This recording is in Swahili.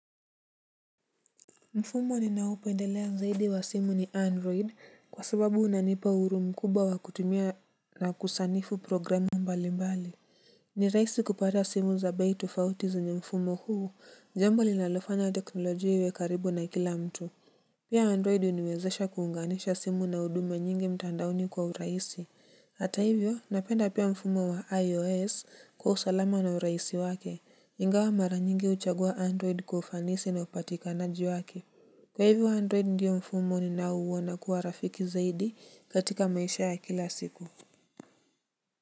Mfumo ninaopendelea zaidi wa simu ni android kwa sababu unanipa huru mkubwa wa kutumia na kusanifu programu mbali mbali. Ni rahisi kupata simu za bei tufauti zenye mfumo huu jambo linalofanya teknolojia iwe karibu na kila mtu. Pia android uniwezesha kuunganisha simu na huduma nyingi mtandaoni kwa urahisi. Hata hivyo, napenda pia mfumo wa IOS kwa usalama na urahisi wake, ingawa mara nyingi uchagua Android kwa ufanisi na upatikanaji wake. Kwa hivyo Android ndiyo mfumo ninao uwona kuwa rafiki zaidi katika maisha ya kila siku.